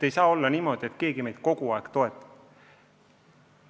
Ei saa olla niimoodi, et keegi meid kogu aeg toetab.